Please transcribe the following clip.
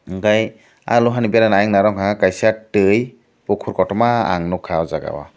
hingke ah loha ni beranai nong ha kaisa twi pokur kotorma ang nogkha ajaga o.